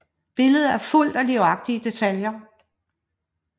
Billedet er fuldt af livagtige detaljer